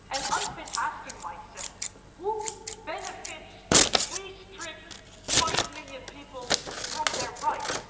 I've been asking myself who benefits if we strip five million people of their rights?